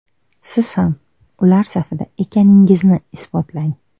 Siz ham ular safida ekaningizni isbotlang!